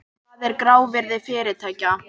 Hvað er grávirði fyrirtækja?